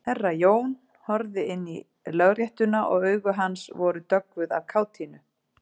Herra Jón horfði inn í Lögréttuna og augu hans voru döggvuð af kátínu.